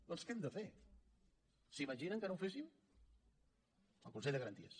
doncs què hem de fer s’imaginen que no ho féssim el consell de garanties